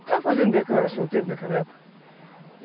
Estava fazendo bem, porque eu era solteiro naquela época.